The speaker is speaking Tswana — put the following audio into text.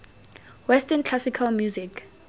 western classical music